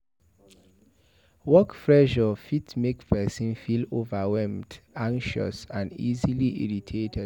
Work pressure fit make person feel overwhelmed anxious and easily irritated